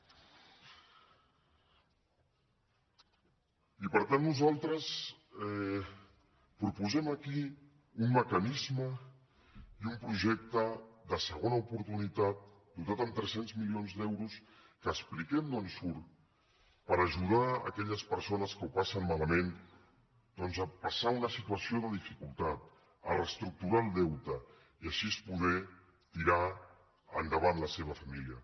i per tant nosaltres proposem aquí un mecanisme i un projecte de segona oportunitat dotat amb tres cents milions d’euros que expliquem d’on surt per ajudar aquelles persones que ho passen malament doncs a passar una situació de dificultat a reestructurar el deute i així poder tirar endavant la seva família